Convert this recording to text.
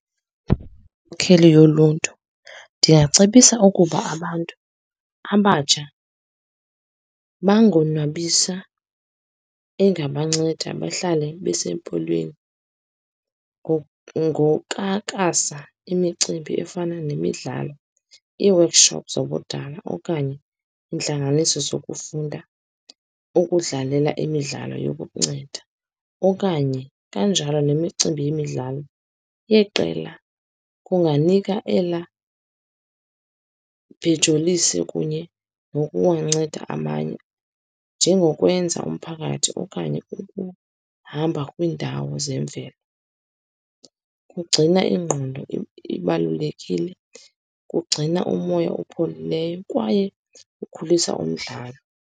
Inkokheli yoluntu ndingacebisa ukuba abantu abatsha bangonwabisa, engabanceda bahlale besempolweni ngokakasa imicimbi efana nemidlalo, ii-workshops zobudala, okanye intlanganiso zokufunda, ukudlalela imidlalo yokukunceda, okanye kanjalo nemicimbi yemidlalo yeqela. Kunganika ela bejolise kunye nokuwanceda amanye njengokwenza umphakathi okanye ukuhamba kwiindawo zemveli. Kugcina ingqondo ibalulekile, kugcina umoya opholileyo, kwaye kukhulisa umdlalo.